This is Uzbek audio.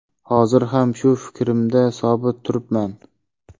Hozir ham shu fikrimda sobit turibman.